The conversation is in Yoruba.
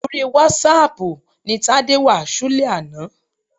Orí wásáaàpù ni Tádé wà ṣúlẹ̀ àná.